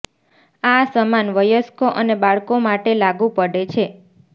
આ સમાન વયસ્કો અને બાળકો માટે લાગુ પડે છે